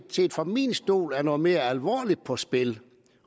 fra min stol er noget mere alvorligt på spil